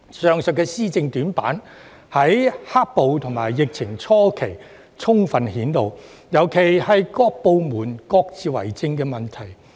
政府的施政短板，在"黑暴"及疫情初期充分顯露出來，尤其是部門各自為政的問題。